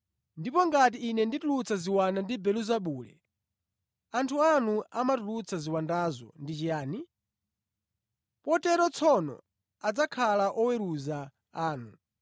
Ndipo ngati Ine nditulutsa ziwanda ndi Belezebule, anthu anu amatulutsa ziwandazo ndi chiyani? Potero tsono adzakhala oweruza anu.